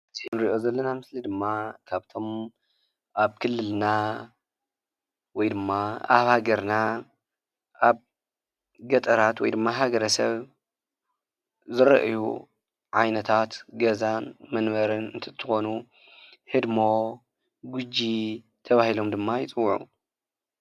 እዚ እንሪኦ ዘለና ምስሊ ድማ ካብቶም ኣብ ክልልና ወይ ድማ ኣብ ሃገርና ኣብ ገጠራት ወይ ድማ ሃገረ ሰብ ዝረአዩ ዓይነታት ገዛን መንበርን እንትትኾኑ ህድሞ ፥ ጉጂ ተባሂሎም ደማ ይፅውዑ።